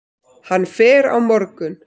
Hann fer á morgun.